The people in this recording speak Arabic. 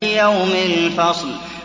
لِيَوْمِ الْفَصْلِ